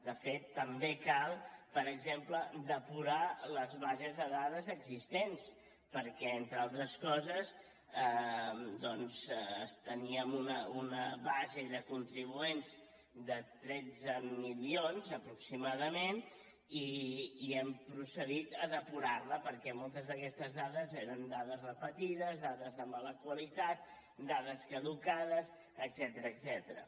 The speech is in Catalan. de fet també cal per exemple depurar les bases de dades existents perquè entre altres coses doncs teníem una base de contribuents de tretze milions aproximadament i hem procedit a depurar la perquè moltes d’aquestes dades eren dades repetides dades de mala qualitat dades caducades etcètera